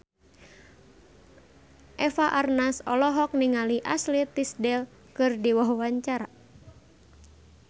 Eva Arnaz olohok ningali Ashley Tisdale keur diwawancara